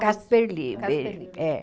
Casper Liber. É.